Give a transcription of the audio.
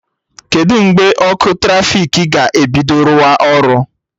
Kedụ mgbe ọkụ trafiki ga-ebido rụwa ọrụ?